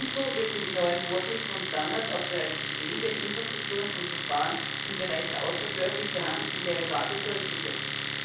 Ebenso wird für die neuen Vorschriften und Standards auf bereits bestehende Infrastrukturen und Verfahren im Bereich der außerbörslich gehandelten Derivate zurückgegriffen.